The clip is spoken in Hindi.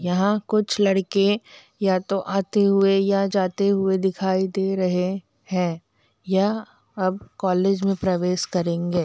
यहां कुछ लड़के या तो आते हुए या जाते हुए दिखाई दे रहे है यह अब कॉलेज में प्रवेश करेंगे।